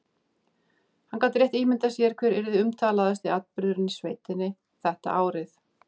Hann gat rétt ímyndað sér hver yrði umtalaðasti atburðurinn í sveitinni þetta árið.